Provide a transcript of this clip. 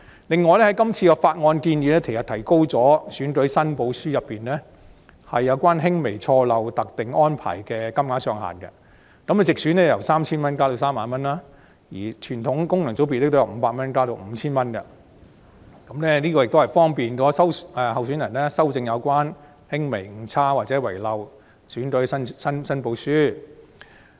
此外，今次的《條例草案》建議提高選舉申報書中有關輕微錯漏特定安排的限額，地方選區由 3,000 元增至 30,000 元，而傳統功能界別則由500元增至 5,000 元，以便候選人修正有輕微誤差或遺漏的選舉申報書。